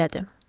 O söylədi.